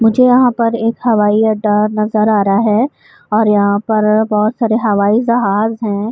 مجھے یہاں پر ایک ہوائی اڈا نظر آ رہا ہے اور یہاں پر بہت سارے ہوائی جحاج ہے۔